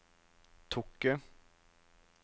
Tokke